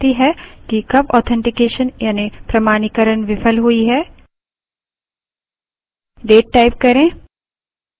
तारीख और समय निर्दिष्ट करती है कि कब authentication यानि प्रमाणीकरण विफल हुई है